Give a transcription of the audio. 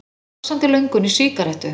Eða vaxandi löngun í sígarettu.